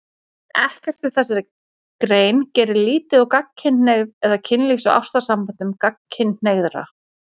Ekkert í þessari grein gerir lítið úr gagnkynhneigð eða kynlífs- og ástarsamböndum gagnkynhneigðra.